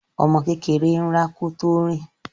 Ọmọ kékeré ń rá kó tó rìn.